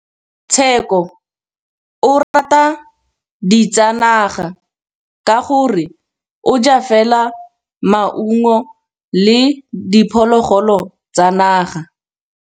Tshekô o rata ditsanaga ka gore o ja fela maungo le diphologolo tsa naga.